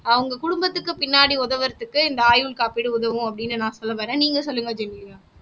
அவங்க குடும்பத்துக்கு பின்னாடி உதவுறதுக்கு இந்த ஆயுள் காப்பீடு உதவும் அப்படின்னு நான் சொல்ல வர்றேன் நீங்க சொல்லுங்க ஜெனிலியா